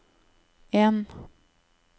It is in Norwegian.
en